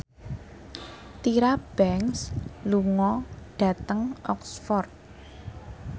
Tyra Banks lunga dhateng Oxford